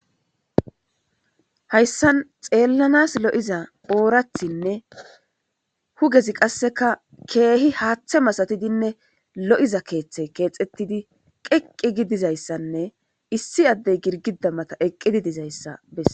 hayssan xeellanas lo7iza oorathinne hugezi qasseka keehi haaththe masatidinne lo7iza keeththey keexettidi qeqqi gi dizayssanne issi addey girgida mata eqqidi dizayssa bessa